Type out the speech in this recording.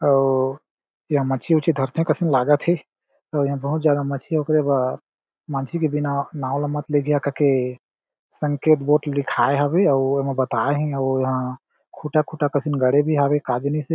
अउ यहाँ मछी उच्छी धरथे कसन लागत हे अउ यहाँ बहुत ज्यादा मछ्छी ओकरे बर मांझी के बिना नाव ला मत लेगिहा क के संकेत बोट लिखाये हावे आउ एमे बताये हे उ यहाँ खुटहा-खुटहा कसन गड़े भी हावे का जनिस हे।